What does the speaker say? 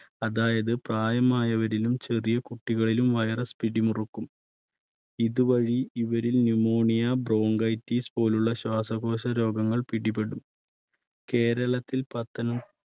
അതായത് പ്രായമായവരിലും ചെറിയ കുട്ടികളിലും virus പിടിമുറുക്കും ഇതുവഴി ഇവരിൽ pneumonia, bronchitis പോലുള്ള ശ്വാസകോശ രോഗങ്ങൾ പിടിപെടും. കേരളത്തിൽ പത്തനം~